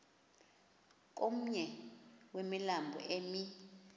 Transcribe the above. komnye wemilambo emi